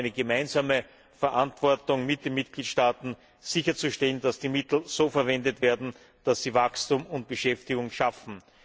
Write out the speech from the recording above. Hier haben wir eine gemeinsame Verantwortung, mit den Mitgliedstaaten sicherzustellen, dass die Mittel so verwendet werden, dass sie Wachstum und Beschäftigung schaffen.